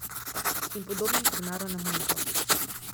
In podobnih primerov ne manjka.